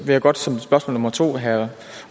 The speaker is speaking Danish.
jeg godt som spørgsmål nummer to have at